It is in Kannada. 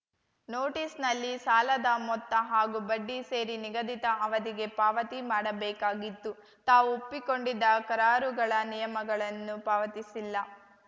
ನೋಟಿಸ್‌ನಲ್ಲಿ ಸಾಲದ ಮೊತ್ತ ಹಾಗೂ ಬಡ್ಡಿ ಸೇರಿ ನಿಗದಿತ ಅವಧಿಗೆ ಪಾವತಿ ಮಾಡಬೇಕಾಗಿತ್ತು ತಾವು ಒಪ್ಪಿಕೊಂಡಿದ್ದ ಕರಾರುಗಳ ನಿಯಮಗಳನ್ನು ಪಾವತಿಸಿಲ್ಲ